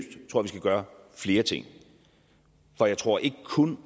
skal gøre flere ting for jeg tror ikke kun